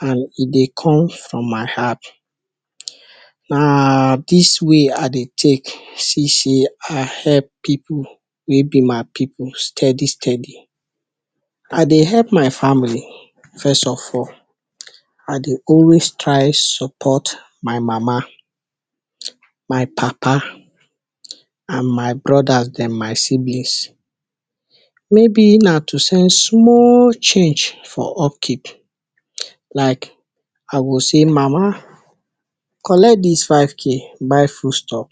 And e dey come from my heart, na dis way I dey take see sey I help pipu wey be my pipu stedi-stedi. I dey help my family first of all, I dey always try sopot my mama, my papa and my brodas dem, my siblings, mey be na to send small change for upkeep like I go say mama; kolect dis five k buy fud stof,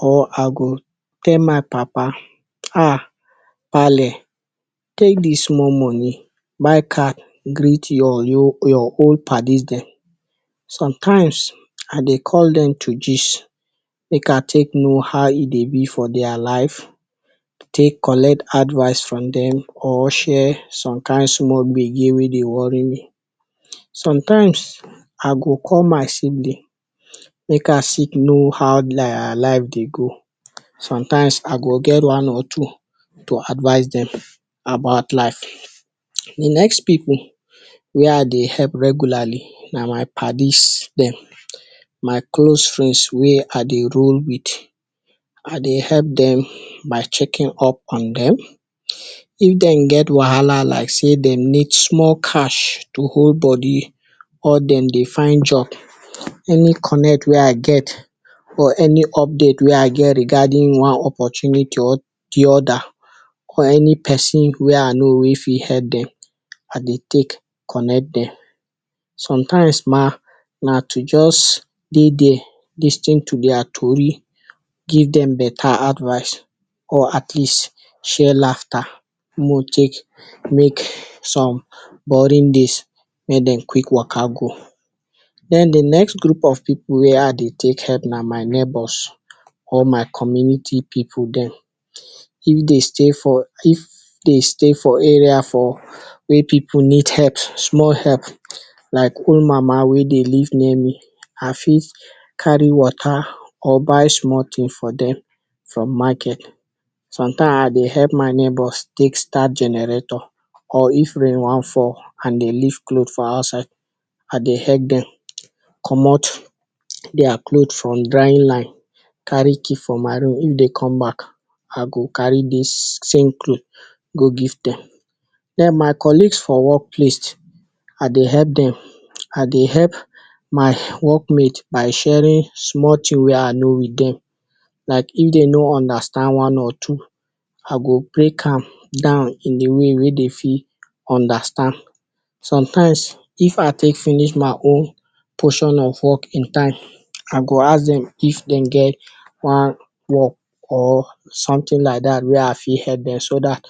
I go tell my papa, ah, pale; take dis small moni buy card greet your old padi dem. Sometimes, I dey call dem to gist, make I take know how e dey be for dia life, take kolect advice from dem or share som kind small gbege wey dey wori me. Sometimes, I go call my sibling make I take no how dia life dey go, sometimes, I go get one or two to advice dem about life. The next pipu wey I dey help regularly na my padi’s dem, my close frend wey I dey roll with. I dey help dem by chekin up on dem. If dem get wahala like sey dem need small cash to hold bodi or dem dey find job, eni konect wey I get, or eni update rigadin one opportunity or di oda wey fit help dem, I dey help konect dem. Sometimes ma, na to jost dey dia lis ten to dia stori, give dem beta advice or atleast share lafta mo take make som borin days mey dem kwik waka go. Den the next grup of pipu wey I dey take help na my nebors or my community pipu dem. If dey stay for area for wey pipu need help, small help like old mama wey dey live near me I fit kari wota or buy small tin for dem from maket. Somtime I dey help my nebors take start generator. Or If rain wan fall and dem live clot for outside, I dey help dem comot dia clot from dry line, kari key from my room if dem come bak I go kari dis same clot go give dem den my kolig for workplace, I dey help dem, I dey help my workmate by sharin small tin wey I know with dem. Like if de no undastand one or two, I go brek am down in di way wey dem fit undastand. Somtimes, fit I take finish my own poshon of work in time, I go ask dem if dem get one work or one tin like dat wey I fit help dem so dat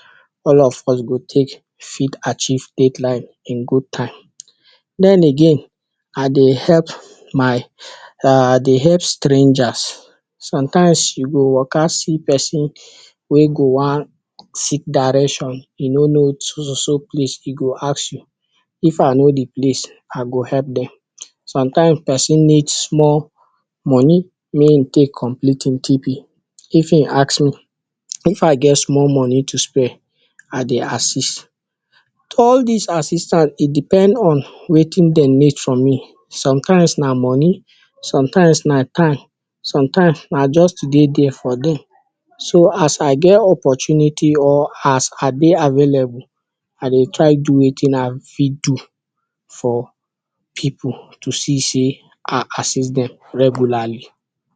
all of us go take fit achieve, take line in gud time. Den again, I dey help srangers, sometimes, you go waka see pesin wey go wan seek direcshon, e no no so-so-so place, e go ask you, if I know di place, I go ask dem. Sometimes, pesin need small moni wey go take complit im TP, if im ask me if I get small moni to spred, I dey assist. All dis assistance, e depend on wetin dem need from me. Sometimes na moni, sometimes na time, sometimes na just to dey dia for dem. So, as I get opportunity or as I dey available, I dey try do wetin I fit do for pipu to see sey I assist dem regulali.